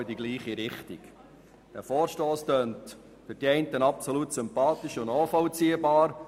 Für die einen klingt dieser Vorstoss absolut sympathisch und nachvollziehbar.